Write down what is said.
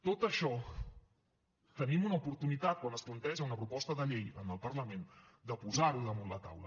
tot això tenim una oportunitat quan es planteja una proposta de llei al parlament de posar ho damunt la taula